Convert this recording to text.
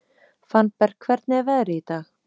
Fannberg, hvernig er veðrið í dag?